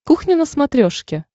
кухня на смотрешке